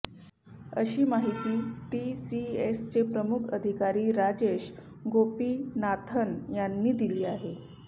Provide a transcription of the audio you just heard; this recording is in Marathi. अशी माहिती टीसीएसचे मुख्य अधिकारी राजेश गोपीनाथन यांनी दिली आहे